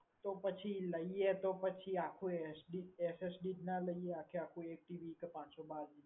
તો પછી લઈએ તો પછી આખું SSD ના જ લઈએ આખે આખું એક TB કે પાંચ સો બાર GB